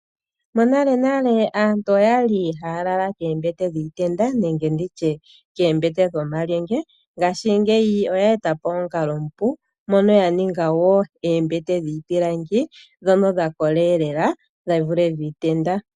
Monalenale aantu okwa li haya lala koombete dhiitenda nenge nditye koombete dhomalyenge. Ngashingeyi oya etapo omukalo omupu mono ya ninga wo oombete dhiipilangi, dhono dha kola elela dhi vule dhono dhiitenda.